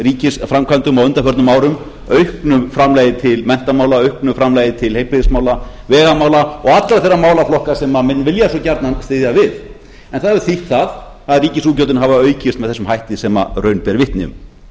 ríkisframkvæmdum á undanförnum árum auknu framlagi til menntamála auknu framlagi til heilbrigðismála vegamála og allra þeirra málaflokka sem menn vilja svo gjarnan styðja við en það hefur þýtt það að ríkisútgjöldin hafa aukist með þessum hætti sem raun ber vitni ég er einnig þeirrar